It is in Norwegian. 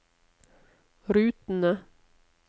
rutene